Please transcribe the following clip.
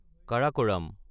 Karakoram